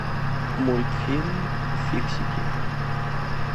мультфильм фиксики